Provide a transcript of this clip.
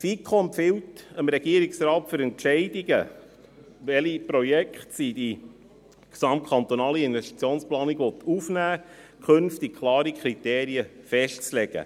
Die FiKo empfiehlt dem Regierungsrat, für Entscheidungen, welche Projekte sie in die GKIP aufnehmen will, künftig klare Kriterien festzulegen.